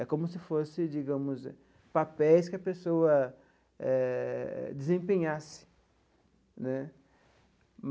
É como se fosse, digamos, papéis que a pessoa eh desempenhasse né.